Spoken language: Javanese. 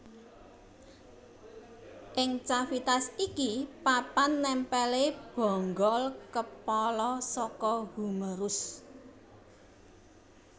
Ing cavitas iki papan nèmpèlé bonggol kepala saka humerus